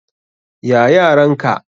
Ya yaran ka?